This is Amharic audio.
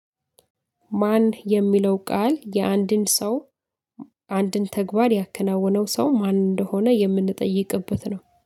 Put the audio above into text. ማን የሚለው ቃል፣ የአንድን ሰው፣ አንድን ተግባር ያከናወነው ሰው ማን እንደሆነ የምንጠይቅበት ነው።